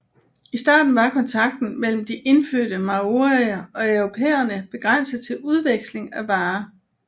I starten var kontakten mellem de indfødte maorier og europæerne begrænset til udveksling af varer